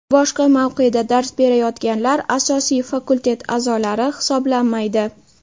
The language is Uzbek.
Boshqa mavqeda dars berayotganlar asosiy fakultet a’zolari hisoblanmaydi.